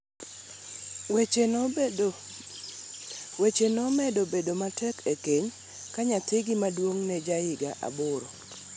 weche nomedo bedo matek e keny ka nyathigi maduong' nejahigni aboro.